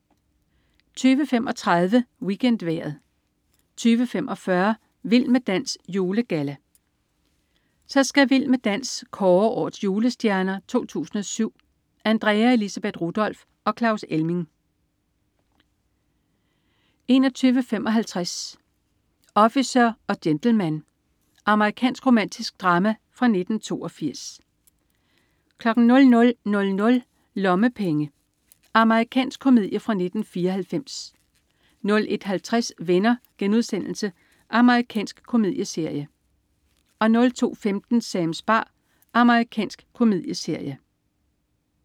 20.35 WeekendVejret 20.45 Vild med dans. Julegalla. Så skal "Vild med dans" kåre "Årets Julestjerner 2007". Andrea Elisabeth Rudolph og Claus Elming 21.55 Officer og gentleman. Amerikansk romantisk drama fra 1982 00.00 Lommepenge. Amerikansk komedie fra 1994 01.50 Venner.* Amerikansk komedieserie 02.15 Sams bar. Amerikansk komedieserie